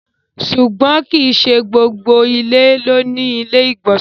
Ṣùgbọ́n kí í ṣé gbogbo ilẹ̀ ló ni ilẹ̀-ìgbọ̀nsẹ̀.